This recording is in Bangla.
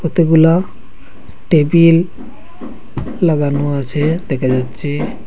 কতগুলা টেবিল লাগানো আছে দেখা যাচ্ছে।